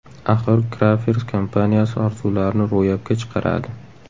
Axir Crafers kompaniyasi orzularni ro‘yobga chiqaradi!